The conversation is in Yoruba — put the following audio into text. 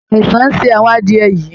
Àìsàn ń ṣe àwọn adìẹ̀ yìí